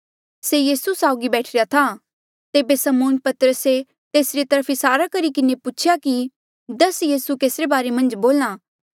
तेबे समौन पतरसे तेसरी तरफ इसारा करी किन्हें पूछेया कि दस यीसू केसरे बारे मन्झ बोल्हा